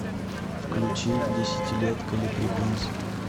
включи десятилетка леприконсы